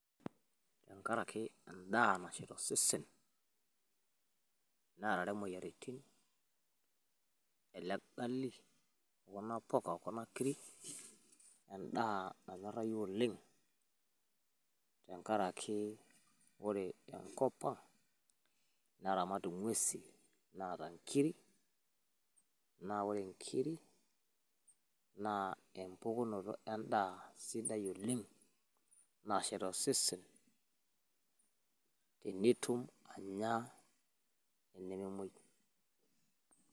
ore tenkaraki edaa nashet osesen, neerare imoyiaritin ele gali okuna puka okuna kiri. edaa nainosayu oleng tenkari ore enkop ang neramat ing'uesin, naata nkiri, naa ore nkiri naa empukunoto edaa sidai oleng'.nashet osesen enituma anya.